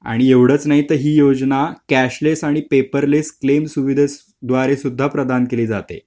आणि एवढंच नाहीतर हि योजना कॅशलेस आणि पेपरलेस क्लेम सुविधेद्वारे सुद्धा प्रधान केली जाते.